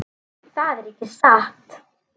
Það er ekki satt.